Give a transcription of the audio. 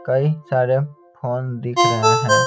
कई सारे फोन दिख रहे हैं।